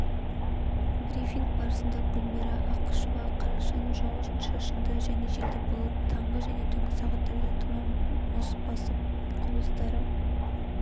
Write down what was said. брифинг барысында гүлмира ақышева қарашаның жауын-шашынды және желді болып таңғы және түнгі сағаттарда тұман басып мұз құбылыстары